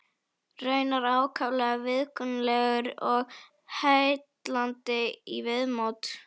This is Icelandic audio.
Raunar ákaflega viðkunnanlegur og heillandi í viðmóti.